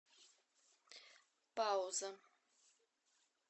пауза